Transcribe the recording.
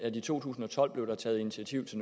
i to tusind og tolv blev taget initiativ til